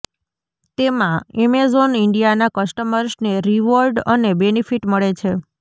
તેમાં એમેઝોન ઇન્ડિયાના કસ્ટમર્સને રિવોર્ડ અને બેનિફિટ મળે છે